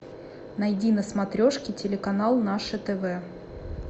найди на смотрешке телеканал наше тв